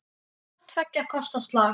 Hvort tveggja kostar slag.